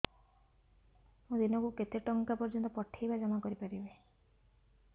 ମୁ ଦିନକୁ କେତେ ଟଙ୍କା ପର୍ଯ୍ୟନ୍ତ ପଠେଇ ବା ଜମା କରି ପାରିବି